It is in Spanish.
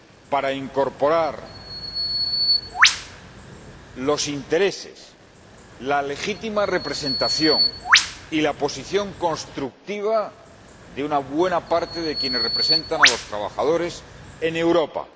para incorporar los intereses, la legítima representación y la posición constructiva de una buena parte de quienes representan a los trabajadores en Europa.